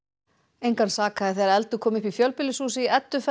engan sakaði þegar eldur kom upp í fjölbýlishúsi í